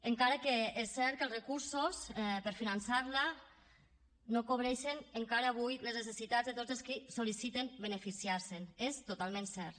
encara és cert que els recursos per finançar la no cobreixen encara avui les necessitats de tots els que sol·liciten beneficiar se’n és totalment cert